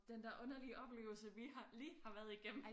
Den der underlige oplevelse vi har lige har været igennem